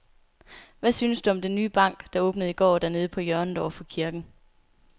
Hvad synes du om den nye bank, der åbnede i går dernede på hjørnet over for kirken?